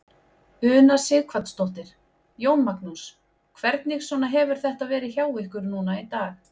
Una Sighvatsdóttir: Jón Magnús, hvernig svona hefur þetta verið hjá ykkur núna í dag?